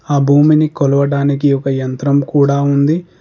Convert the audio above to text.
ఆ భూమిని కొలవడానికి ఒక యంత్రం కూడా ఉంది.